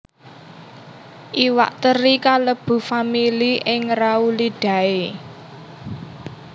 Iwak teri kalebu famili Engraulidae